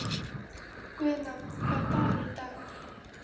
Guðna, hvaða dagur er í dag?